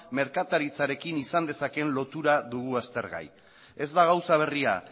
merkataritzarekin izan dezakeen lotura dugu aztergai ez da gauza berria